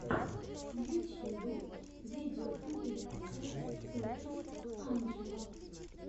в ютьюбе видеокомпиляция токинг анджела